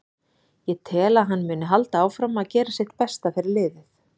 Ég tel að hann muni halda áfram að gera sitt besta fyrir liðið.